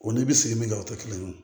O ni bi se min kɛ o te kelen ye